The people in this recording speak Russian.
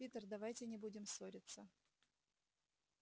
питер давайте не будем ссориться